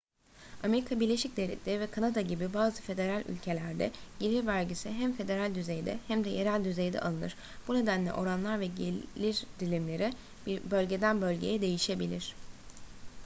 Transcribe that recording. amerika birleşik devletleri ve kanada gibi bazı federal ülkelerde gelir vergisi hem federal düzeyde hem de yerel düzeyde alınır bu nedenle oranlar ve gelir dilimleri bölgeden bölgeye değişebilir